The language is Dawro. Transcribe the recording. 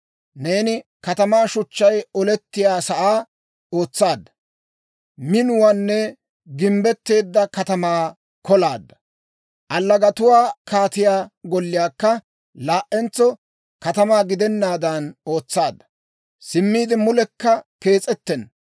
Neeni katamaa shuchchay oletiyaa sa'aa ootsaadda; minuwaan gimbbetteedda katamaa kolaadda. Allagatuwaa kaatiyaa golliyaakka laa"entso katamaa gidennaadan ootsaadda. Simmiide mulekka kees'ettenna.